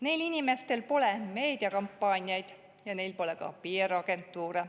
Neil inimestel pole meediakampaaniaid ja neil pole ka PR-agentuure.